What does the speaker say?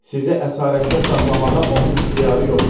Sizi əsarətdə saxlamağa onun ixtiyarı yoxdur.